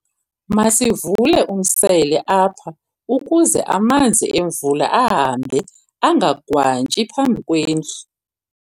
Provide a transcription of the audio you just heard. Masivule umsele apha ukuze amanzi emvula ahambe angagwantyi phambi kwendlu.